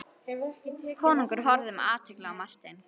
Konungur horfði með athygli á Martein.